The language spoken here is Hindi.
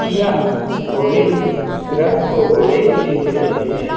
यह घोड़े रथ को घोड़े खींच रहे हैं।